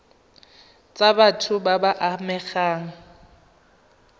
tsa batho ba ba amegang